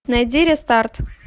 найди рестарт